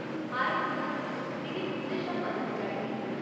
हाए रिंजा, मिगी तुं'दे शा मदद चाहिदी।